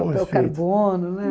mais feitos. O papel carbono, né?